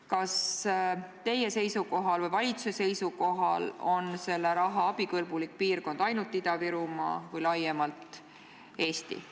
Kas teie või valitsuse arvates on selle raha puhul abikõlblik piirkond ainult Ida-Virumaa või laiemalt Eesti?